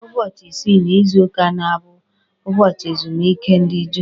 Ụbọchị isii n'izuka na-abụ ụbọchị ezumike ndị Juu.